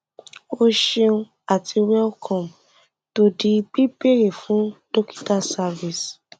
o ṣeun àti welcome to the bíbéèrè fún dokita service